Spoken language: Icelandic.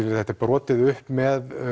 þetta er brotið upp með